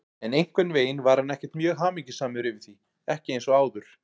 En einhvern veginn var hann ekkert mjög hamingjusamur yfir því, ekki eins og áður.